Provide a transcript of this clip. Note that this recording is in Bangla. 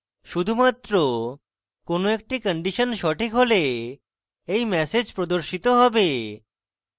শুধুমাত্র কোনো একটি কন্ডিশন সঠিক হলে এই ম্যাসেজ প্রদর্শিত হবে